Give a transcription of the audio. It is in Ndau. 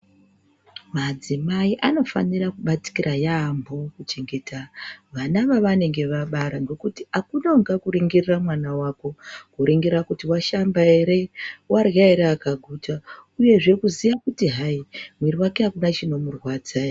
Madzimai anofanira kubatikira yampo kuchengeta vana vavanenge vabara ngekuti akuna ungakuringirira mwana wako, kuringira kuti washamba ere warya ere akaguta ,uye zve kuziya kuti hayi mwiri wake akuna chinomurwadza ere.